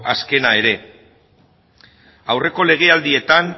azkena ere aurreko legealdietan